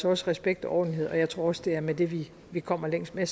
også respekt og ordentlighed og jeg tror også det er med det vi vi kommer længst men